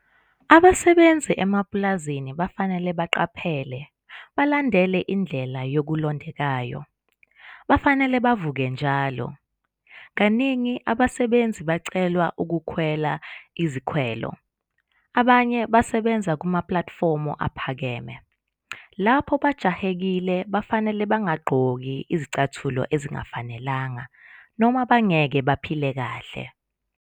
Abasebenzi emapulazini bafanele baqaphele, balandele indlela yokulondekayo, bafanele bavuke njalo! Kaningi abasebenzi bacelwa ukukhwela izikwelo, abanye basebenza kumaphalathufomu aphakeme. Lapho bajahekile bafenele bangagqoki izicathulo ezingafanelanga noma bangeke baphile kahle.